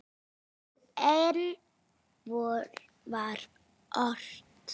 Og enn var ort.